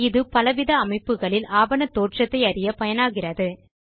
இது பலவித அமைப்புகளில் ஆவண தோன்றத்தை அறிய பயனாகிறது